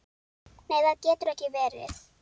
Nei það getur ekki verið.